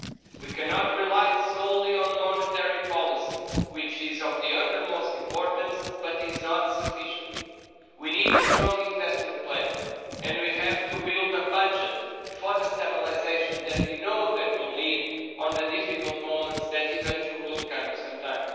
We cannot rely solely on monetary policy, which is of the utmost importance but is not sufficient. We need a strong investment plan and we have to build a budget for the stabilisation that we know we'll need in the difficult moments that eventually will come sometime.